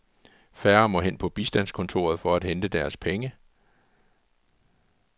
Færre må hen på bistandskontoret for at hente deres penge.